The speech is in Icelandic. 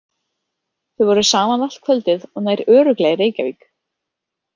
Þau voru saman allt kvöldið og nær örugglega í Reykjavík.